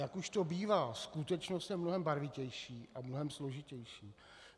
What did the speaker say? Jak už to bývá, skutečnost je mnohem barvitější a mnohem složitější.